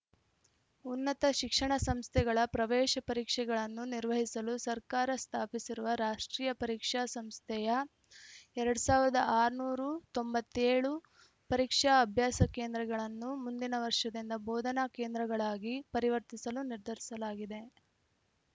ಉನ್ನತ ಶಿಕ್ಷಣ ಸಂಸ್ಥೆಗಳ ಪ್ರವೇಶ ಪರೀಕ್ಷೆಗಳನ್ನು ನಿರ್ವಹಿಸಲು ಸರ್ಕಾರ ಸ್ಥಾಪಿಸಿರುವ ರಾಷ್ಟ್ರೀಯ ಪರೀಕ್ಷಾ ಸಂಸ್ಥೆಯ ಎರಡು ಆರುನೂರ ತೊಂಬತ್ತ್ ಏಳು ಪರೀಕ್ಷಾ ಅಭ್ಯಾಸ ಕೇಂದ್ರಗಳನ್ನು ಮುಂದಿನ ವರ್ಷದಿಂದ ಬೋಧನಾ ಕೇಂದ್ರಗಳಾಗಿ ಪರಿವರ್ತಿಸಲು ನಿರ್ಧರಿಸಲಾಗಿದೆ